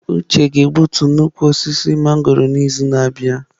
Uche ga-egbutu nnukwu osisi mangọrọ a n'izu na-abịa.